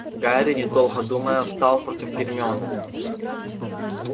гарри недолго думая встал против гермионы